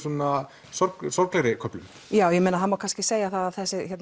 sorglegri sorglegri köflum já það má kannski segja það að